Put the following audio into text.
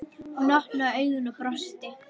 Hún opnaði augun og brosti.